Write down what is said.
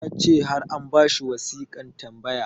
ya ce har an ba shi wasiƙan tambaya